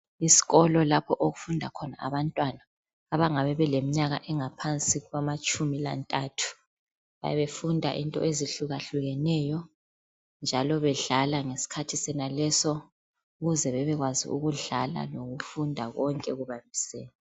Isikolo lapho okufunda khona abantwana abangabe beleminyaka engaphansi kwamatshumi lantathu bayabe befunda izinto ezuhlukahlukeneyo njalo bedlala ngesikhathi sonaleso ukuze bebekwazi ukudlala lokufunda konke kubambisene.